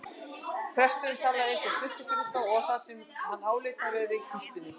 Presturinn talaði eins og sultukrukka um það sem hann áleit að væri í kistunni.